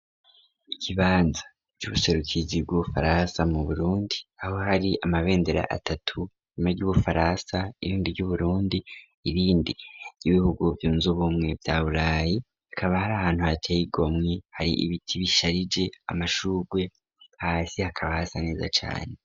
Ikibanza by'ubuserukizi bw'ubufaransa mu burundi aho hari amabendera atatu nyuma ry'ubufaransa irindi ry'uburundi irindi y'ibihugu byunze ubumwe bya burayi akaba hari ahantu haceyigomwi hari ibiti bisharije amashugwe hasi hakaba hasa neza cane.